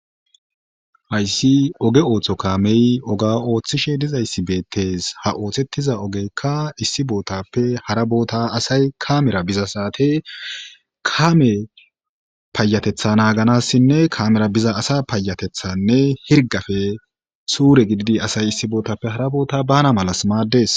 Haysi oge ootho kamey oga othishe dizaysi beetes ha oothetiza ogeyka issi botape hara bota asay kamera biza sate kames payatetha Naganasinne kamera biza asa hirgape sure gididi asay issi botape hara nota bana mala mades